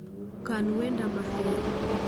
Kan wenda mahero